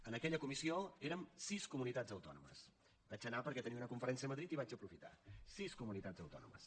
en aquella comissió érem sis comunitats autònomes hi vaig anar perquè tenia una conferència a madrid i ho vaig aprofitar sis comunitats autònomes